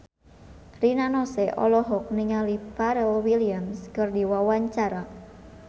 Rina Nose olohok ningali Pharrell Williams keur diwawancara